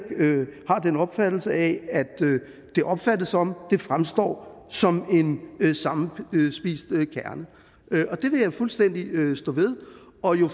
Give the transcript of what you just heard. den opfattelse at det opfattes som og det fremstår som en sammenspist kerne det vil jeg fuldstændig stå ved og jo